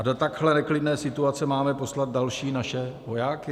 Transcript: A do takhle neklidné situace máme poslat další naše vojáky?